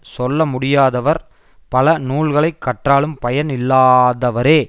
சொல்ல முடியாதவர் பல நூல்களை கற்றாலும் பயன் இல்லாதவரே